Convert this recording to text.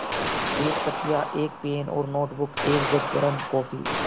एक तकिया एक पेन और नोटबुक एक जग गर्म काफ़ी